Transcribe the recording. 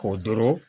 K'o doro